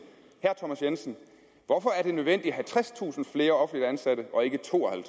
hvorfor er det nødvendigt at have tredstusind flere offentligt ansatte og ikke